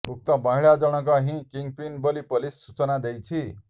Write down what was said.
ଉକ୍ତ ମହିଳା ଜଣକ ହିଁ କିଙ୍ଗପିନ୍ ବୋଲି ପୋଲିସ ସୂଚନା ଦେଇଛି